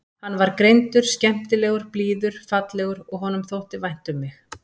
Hann var greindur, skemmtilegur, blíður, fallegur og honum þótti vænt um mig.